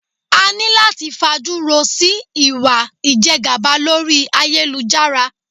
A ní láti fajúro sí ìwà ìjẹgàba lórí ayélujára.